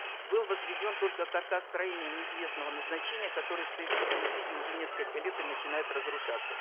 был возведен только каркас строения неизвестного назначения который стоит в таком виде уже несколько лет и начинает разрушаться